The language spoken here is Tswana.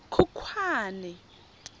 khukhwane